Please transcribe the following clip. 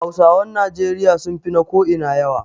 Hausawan Najeriya sun fi na ko ina yawa